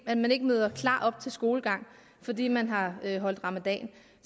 at man ikke møder klar op til skolegang fordi man har holdt ramadan